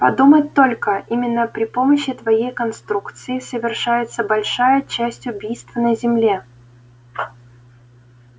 подумать только именно при помощи твоей конструкции совершается большая часть убийств на земле